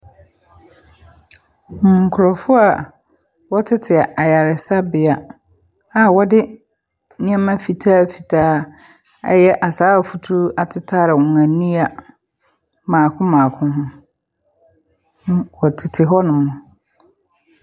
Nkurɔfoɔ a eɔtete ayaresabea a wɔde nneɛma fitafitaa a ɛyɛ asaawa future atetare wɔ ani mmaako mmaako ho. Wɔtete hɔnom.